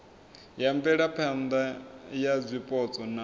ya mvelaphana ya zwipotso na